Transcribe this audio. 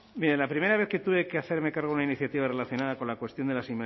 mire la primera vez que tuve que hacerme cargo de una iniciativa relacionada con la cuestión de las